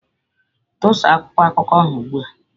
Tusaa akwụkwọ akụkọ ahụ ugbu a!